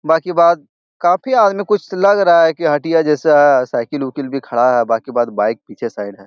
बाकि बाद काफी आदमी कुछ लग रहा है की हटिया जैसा है । साइकिल उकील भी खड़ा है । बाकि बाद बाइक पीछे साइड है ।